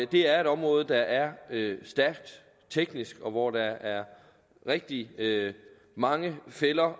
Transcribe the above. det er et område der er stærkt teknisk og hvor der er rigtig mange fælder